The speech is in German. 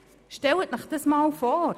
Stellen Sie sich das einmal vor!